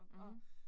Mh